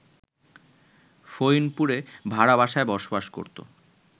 ফইনপুরে ভাড়া বাসায় বসবাস করত